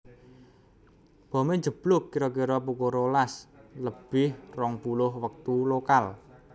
Bomé njeblug kira kira pukul rolas lebih rong puluh wektu lokal